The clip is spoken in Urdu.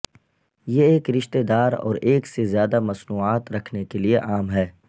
یہ ایک رشتہ دار اور ایک سے زیادہ مصنوعات رکھنے کے لئے عام ہے